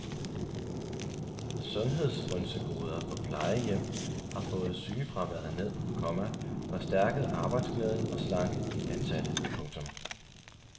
Sundhedsfrynsegoder på plejehjem har fået sygefraværet ned, komma forstærket arbejdsglæden og slanket de ansatte. punktum